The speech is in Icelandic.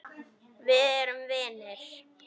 Við erum vinir.